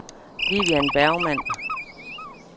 Vivian Bergmann